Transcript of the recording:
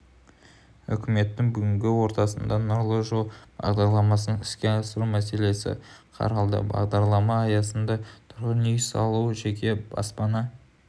үкіметтің бүгінгі отырысында нұрлы жол бағдарламасын іске асыру мәселесі қаралды бағдарлама аясында тұрғын-үй салу жеке баспана